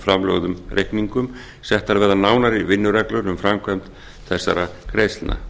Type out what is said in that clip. framlögðum reikningum settar verða nánari vinnureglur um framkvæmd þessara greiðslna